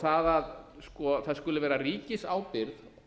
það að það skuli vera ríkisábyrgð